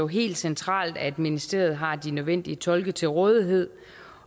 helt centralt at ministeriet har de nødvendige tolke til rådighed